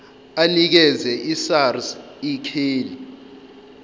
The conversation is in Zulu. anikeze isars ikheli